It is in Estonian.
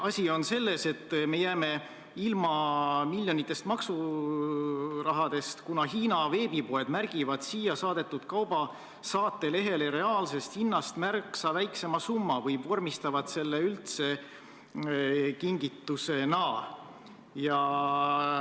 Asi on selles, et me jääme ilma miljonitest eurodest maksurahast, kuna Hiina veebipoed märgivad siia saadetud kauba saatelehele reaalsest hinnast märksa väiksema summa või vormistavad selle üldse kingitusena.